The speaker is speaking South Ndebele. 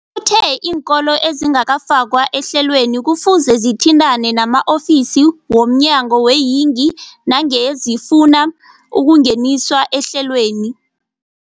Uthe iinkolo ezingakafakwa ehlelweneli kufuze zithintane nama-ofisi wo mnyango weeyingi nangange zifuna ukungeniswa ehlelweni.